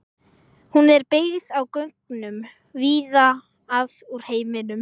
Hún er byggð á gögnum víða að úr heiminum.